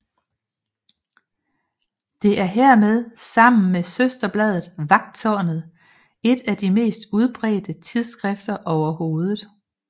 Det er hermed sammen med søsterbladet Vagttårnet et af de mest udbredte tidsskrifter overhovedet